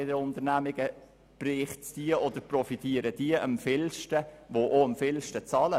Bei den Unternehmungen profitieren diejenigen am meisten, die auch am meisten bezahlen.